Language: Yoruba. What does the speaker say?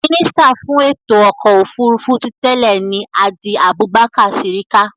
Mínísítà fún ètò ọkọ̀ òfurufú ti tẹ́ẹ̀ ni Hadi Abubakar Sirika